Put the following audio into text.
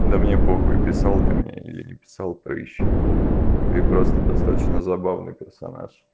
да мне похуй писал ты мне не писал прыщ ты просто достаточно забавный персонаж